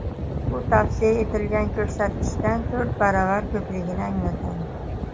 Bu tavsiya etilgan ko‘rsatkichdan to‘rt baravar ko‘pligini anglatadi.